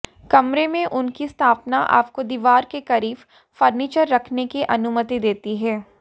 कमरे में उनकी स्थापना आपको दीवार के करीब फर्नीचर रखने की अनुमति देती है